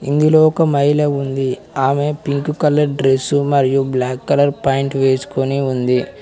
ఇందులో ఒక మహిళ ఉంది ఆమె పింక్ కలర్ డ్రెస్సు మరియు బ్లాక్ కలర్ పాయింట్ వేసుకొని ఉంది.